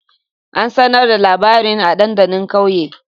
An sanar da labarin a dandalin kauye?